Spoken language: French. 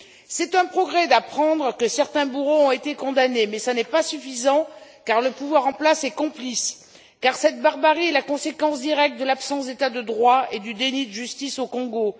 C'est un progrès d'apprendre que certains bourreaux ont été condamnés mais ce n'est pas suffisant car le pouvoir en place est complice, parce que cette barbarie est la conséquence directe de l'absence d'état de droit et du déni de justice au Congo.